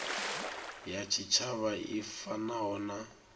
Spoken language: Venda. ya tshitshavha i fanaho na